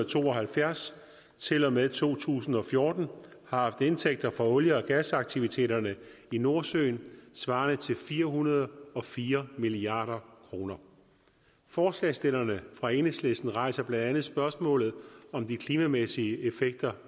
to og halvfjerds til og med to tusind og fjorten har haft indtægter fra olie og gasaktiviteterne i nordsøen svarende til fire hundrede og fire milliard kroner forslagsstillerne fra enhedslisten rejser blandt andet spørgsmålet om de klimamæssige effekter